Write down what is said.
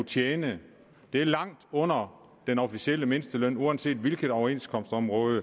tjene det er langt under den officielle mindsteløn uanset hvilket overenskomstområde